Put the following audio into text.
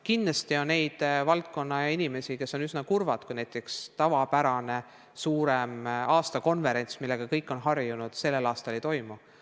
Kindlasti on neid inimesi, kes on üsna kurvad, kui näiteks mõnd tavapärast aastakonverentsi, millega kõik on harjunud, sellel aastal ei toimu.